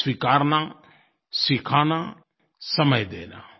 स्वीकारना सिखाना समय देना